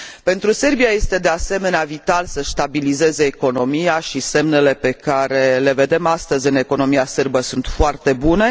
Pentru Serbia este, de asemenea, vital să și stabilizeze economia, iar semnele pe care le vedem astăzi în economia sârbă sunt foarte bune.